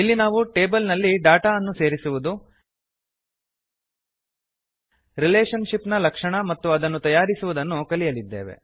ಇಲ್ಲಿ ನಾವು ಟೇಬಲ್ ನಲ್ಲಿ ಡೇಟಾ ಅನ್ನು ಸೇರಿಸುವುದು ರಿಲೇಶನ್ ಶಿಪ್ ನ ಲಕ್ಷಣ ಮತ್ತು ಅದನ್ನು ತಯಾರಿಸುವುದನ್ನು ಕಲಿಯಲಿದ್ದೇವೆ